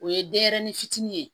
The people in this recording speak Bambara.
O ye denyɛrɛni fitini ye